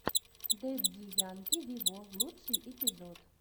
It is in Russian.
дэдди янки виво лучший эпизод